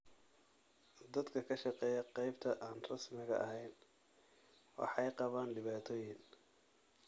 Dadka ka shaqeeya qaybta aan rasmiga ahayn waxay qabaan dhibaatooyin.